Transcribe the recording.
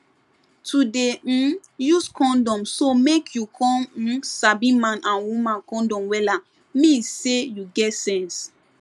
to dey um use condom so make you come um sabi man and woman condom wella mean say you get sense